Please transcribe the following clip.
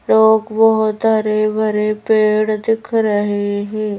लोग बहुत हरे भरे पेड़ दिख रहे हैं।